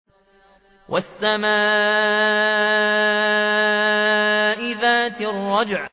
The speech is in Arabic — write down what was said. وَالسَّمَاءِ ذَاتِ الرَّجْعِ